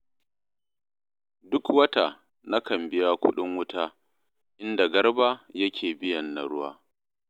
Duk wata nakan biya kuɗin wuta, inda Garba yake biyan na ruwa